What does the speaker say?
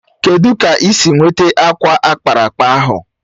Kedụ ka ị si nweta akwa ákpáraàkpà ahụ?